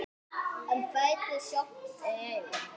En ferlið sjálft var erfitt?